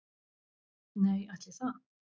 Nei, ætli það